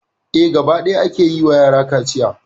Eh, gaba ɗaya a ke yi ma yara kaciya.